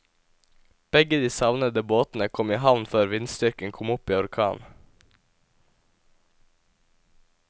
Begge de savnede båtene kom i havn før vindstyrken kom opp i orkan.